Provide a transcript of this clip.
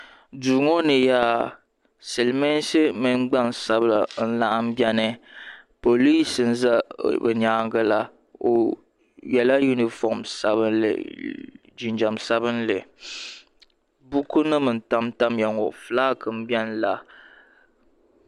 duu ŋɔ ni yaa silimiinsi mini gbaŋ' sabila n-laɣim beni poliinsi n-za bɛ nyaaga la o yela yunifom sabinli jinjam sabinli bukunima n-tamtam ya ŋɔ fulaaki m-beni la.